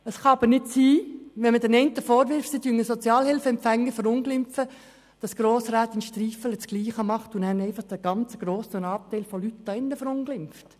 Es kann nicht sein, dass man den einen Verunglimpfung von Sozialhilfeempfängern vorwirft und Grossrätin Striffeler aber dasselbe tut, indem sie einen ganz grossen Anteil der Leute hier im Grossen Rat verunglimpft.